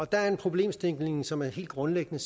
der er en problemstilling som er helt grundlæggende